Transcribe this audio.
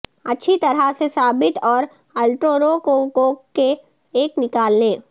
اچھی طرح سے ثابت اور الٹروروکوکوک کے ایک نکالنے